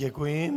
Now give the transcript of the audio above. Děkuji.